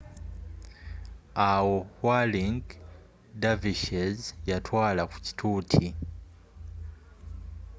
awo whirling dervishes yatwaala ku kituuti